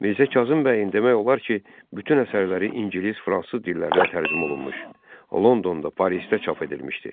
Mirzə Kazım bəyin demək olar ki, bütün əsərləri ingilis, fransız dillərinə tərcümə olunmuş, Londonda, Parisdə çap edilmişdi.